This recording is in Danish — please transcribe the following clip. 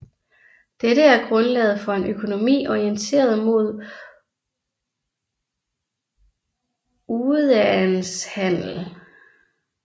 Dette er grundlaget for en økonomi orienteret mod udæandshandel